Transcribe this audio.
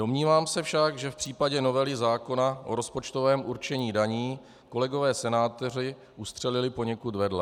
Domnívám se však, že v případě novely zákona o rozpočtovém určení daní kolegové senátoři ustřelili poněkud vedle.